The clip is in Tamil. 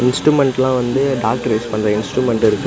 இன்ஸ்ட்ருமென்ட்டெல்லா வந்து டாக்டர் யூஸ் பண்ற இன்ஸ்ட்ருமென்ட் இருக்கு.